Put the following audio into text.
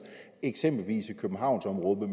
eksempelvis i københavnsområdet